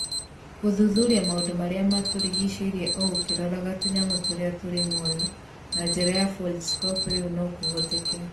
gũthuthuria maũndũ marĩa matũrigicĩirie o ũkĩroraga tũnyamũ tũrĩa tũrĩ muoyo na njĩra ya Foldscope rĩu no kũhoteke.